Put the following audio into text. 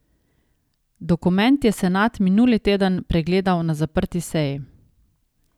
Dokument je senat minuli teden pregledal na zaprti seji.